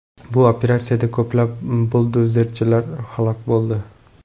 Bu operatsiyada ko‘plab buldozerchilar halok bo‘ldi.